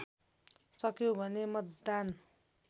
सक्यौँ भने मतदान